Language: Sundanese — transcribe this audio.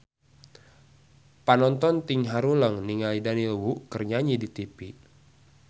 Panonton ting haruleng ningali Daniel Wu keur nyanyi di tipi